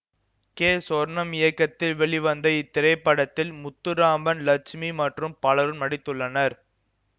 K Sornam இயக்கத்தில் வெளிவந்த இத்திரைப்படத்தில் முத்துராமன் லட்சுமி மற்றும் பலரும் நடித்துள்ளனர்